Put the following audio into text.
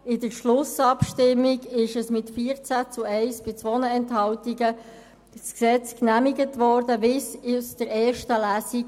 In der Schlussabstimmung wurde das Gesetz, wie es aus der ersten Lesung resultierte, mit 14 Ja-Stimmen zu 1 Gegenstimme bei 2 Enthaltungen genehmigt.